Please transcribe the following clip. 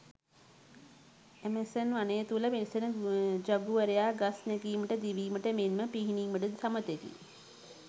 Amazon වනය තුළ වෙසෙන ජගුවරයා ගස් නැගීමට දිවීමට මෙන්ම පිහිනීමටද සමතෙකි.